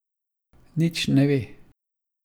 Nič ne ve.